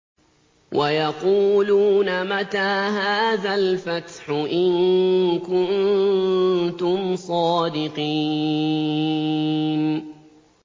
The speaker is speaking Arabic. وَيَقُولُونَ مَتَىٰ هَٰذَا الْفَتْحُ إِن كُنتُمْ صَادِقِينَ